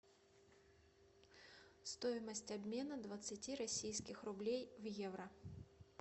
стоимость обмена двадцати российских рублей в евро